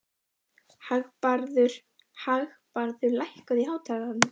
Hagbarður, lækkaðu í hátalaranum.